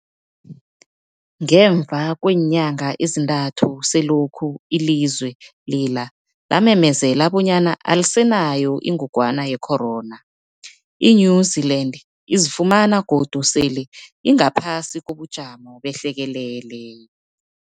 Ngemva kweenyanga ezintathu selokhu ilizwe lela lamemezela bonyana alisenayo ingogwana ye-corona, i-New-Zealand izifumana godu sele ingaphasi kobujamo behlekelele.